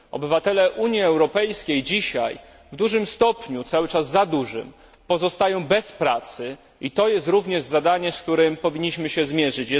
Obywatele Unii Europejskiej dzisiaj w dużym stopniu, cały czas za dużym, pozostają bez pracy i to jest również zadanie, z którym powinniśmy się zmierzyć.